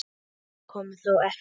Allt kom þó fyrir ekki.